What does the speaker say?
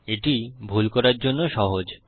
এটি ভুল করার জন্য সহজ